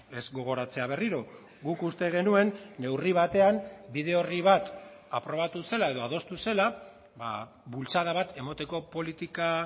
ez gogoratzea berriro guk uste genuen neurri batean bide orri bat aprobatu zela edo adostu zela bultzada bat emateko politika